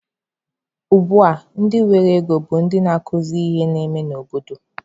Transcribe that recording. Ugbua ndị nwere ego bụ ndị na-ekwuzi ihe na-eme n'obodo.